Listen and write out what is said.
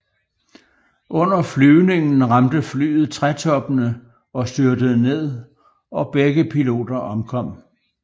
Under flyvningen ramte flyet trætoppene og styrtede ned og begge piloter omkom